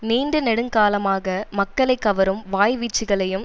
நீண்ட நெடுங்காலமாக மக்களை கவரும் வாய்வீச்சுக்களையும்